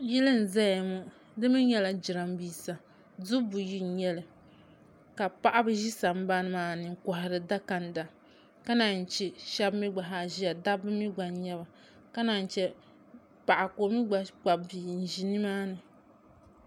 Yili m-zaya ŋɔ di mi nyɛla jirambiisa dubu buyi n-nyɛ li ka paɣiba ʒi sambani maa ni n-kɔhiri dakanda ka naanyi che shɛba mi ɡba zaa ʒiya dabba mi ɡba n-nyɛ ba ka naanyi che paɣa ka o mi ɡba kpabi bia n-ʒi nimaani